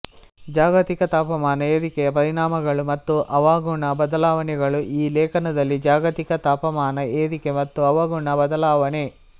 ಜಾಗತಿಕ ತಾಪಮಾನ ಏರಿಕೆಯ ಪರಿಣಾಮಗಳು ಮತ್ತು ಹವಾಗುಣ ಬದಲಾವಣೆಗಳು ಈ ಲೇಖನದಲ್ಲಿ ಜಾಗತಿಕ ತಾಪಮಾನ ಏರಿಕೆ ಮತ್ತು ಹವಾಗುಣ ಬದಲಾವಣೆ